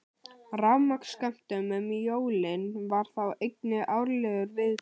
Rafmagnsskömmtun um jólin var þá einnig árlegur viðburður.